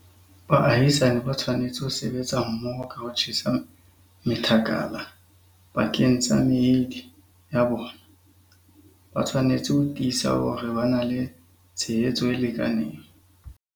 Baahisani ba tshwanetse ho sebetsa mmoho ka ho tjhesa methakala pakeng tsa meedi ya bona. Ba tshwanetse ho tiisa hore ba na le tshehetso e lekaneng.